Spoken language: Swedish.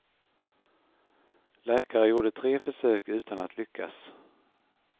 Läkare gjorde tre försök utan att lyckas.